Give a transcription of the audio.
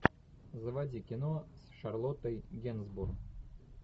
заводи кино с шарлоттой генсбур